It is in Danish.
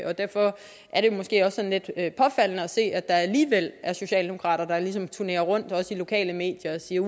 og derfor er det måske også at se at der alligevel er socialdemokrater der ligesom turnerer rundt i lokale medier og siger